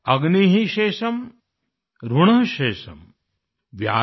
अग्नि शेषम् ऋण शेषम्